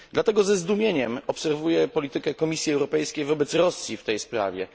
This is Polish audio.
Dlatego ze zdumieniem obserwuję politykę Komisji Europejskiej wobec Rosji w tej sprawie.